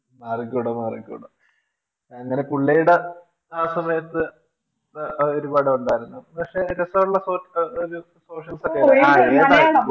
മാറിക്കൂടാ മാറിക്കൂടാ അങ്ങനെ പുള്ളിടെ ആ സമയത്തു അതൊരു പടമുണ്ടായിരുന്നു പക്ഷെ രസമുള്ള ഒരു Socials ഒക്കെയായിരുന്നു